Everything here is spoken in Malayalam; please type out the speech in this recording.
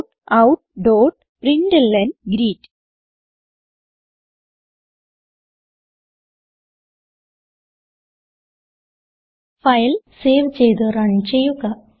systemoutപ്രിന്റ്ലൻ ഫയൽ സേവ് ചെയ്ത് റൺ ചെയ്യുക